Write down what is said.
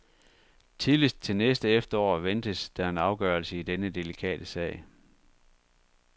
Tidligst til næste efterår ventes der en afgørelse i denne delikate sag.